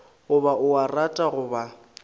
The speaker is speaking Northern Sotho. goba o a rata goba